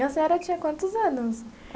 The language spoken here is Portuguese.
E a senhora tinha quantos anos?